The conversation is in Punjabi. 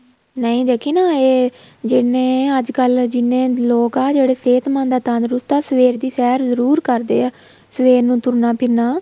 ਨਹੀਂ ਦੇਖੀ ਨਾ ਇਹ ਜਿੰਨੇ ਅੱਜ ਕੱਲ ਜਿਹਨੇ ਲੋਕ ਆ ਜਿਹੜੇ ਸਿਹਤਮੰਦ ਆ ਤੰਦਰੁਸਤ ਆ ਸਵੇਰ ਦੀ ਸੈਰ ਜਰੂਰ ਕਰਦੇ ਹੈ ਸਵੇਰ ਨੂੰ ਤੁਰਨਾ ਫਿਰਨਾ